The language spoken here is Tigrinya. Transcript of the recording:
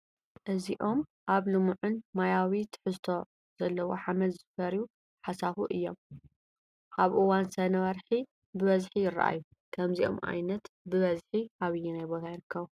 እዚኦም ኣብ ልሙዕን ማያዊ ትሕዝቶ ዘለዎ ሓመድ ዝፈርዩ ሓሳኹ እዮም፡፡ ኣብ እዋን ሰነ ወርሒ ብበዝሒ ይራኣዩ፡፡ ከምዚኦም ዓይነት ብበዝሒ ኣበየናይ ቦታ ይርከቡ?